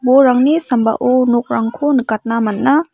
uarangni sambao nokrangko nikatna man·a.